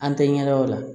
An tɛ ɲɛ dɔn o la